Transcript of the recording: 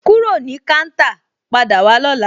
Kúrò ní káńtà, padà wá lóla!